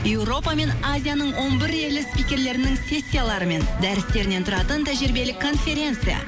европа мен азияның он бір елі спикерлерінің сессиялары мен дәрістерінен тұратын тәжірибелік конференция